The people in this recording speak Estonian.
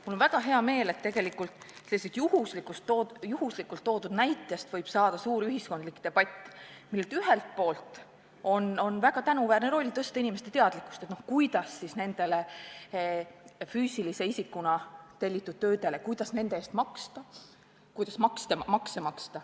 Mul on väga hea meel, et sellisest juhuslikult toodud näitest võib saada suur ühiskondlik debatt, millel on väga tänuväärne roll tõsta inimeste teadlikkust, kuidas nende füüsilise isikuna tellitud tööde eest makse maksta.